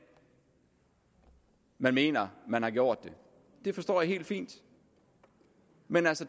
man mener man har gjort det det forstår jeg helt fint men